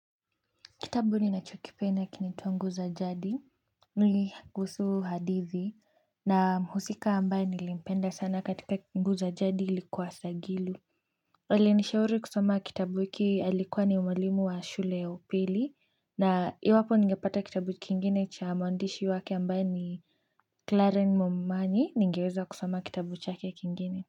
Kitabu ninacho kipenda kinaitwa nguu za jadi nili kuhusu hadithi na mhusika ambaye nilimpenda sana katika nguu za jadi ilikuwa sagilu aliyenishauri kusoma kitabu hiki alikuwa ni mwalimu wa shule ya upili na iwapo ningepata kitabu kingine cha mwandishi wake ambaye ni Clara Momanyi ningeweza kusoma kitabu chake kingine.